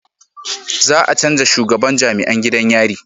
Za a canja shugaban jam'iyan gidan yari